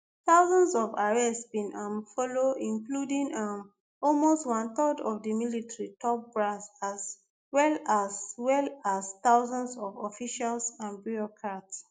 thousands of arrests bin um follow including um almost one third of di military top brass as well as well as thousands of officials and bureaucrats